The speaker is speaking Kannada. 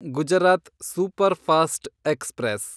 Gujarat superfast express